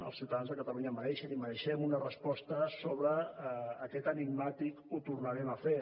els ciutadans de catalunya mereixen i mereixem una resposta sobre aquest enigmàtic ho tornarem a fer